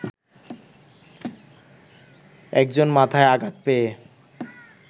একজন মাথায় আঘাত পেয়ে